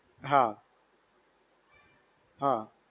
હા. હા.